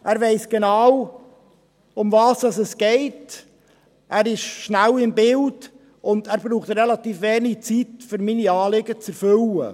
Er weiss genau, worum es geht, er ist schnell im Bild, und er braucht relativ wenig Zeit, um meine Anliegen zu erfüllen.